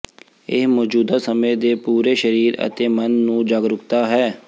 ਇਹ ਮੌਜੂਦਾ ਸਮੇਂ ਦੇ ਪੂਰੇ ਸਰੀਰ ਅਤੇ ਮਨ ਨੂੰ ਜਾਗਰੂਕਤਾ ਹੈ